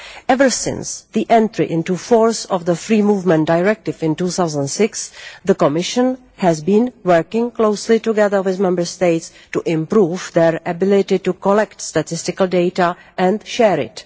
Ever since the entry into force of the Free Movement Directive in 2006, the Commission has been working closely together with Member States to improve their ability to collect statistical data and share it.